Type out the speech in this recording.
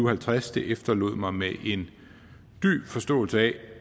og halvtreds det efterlod mig med en dyb forståelse af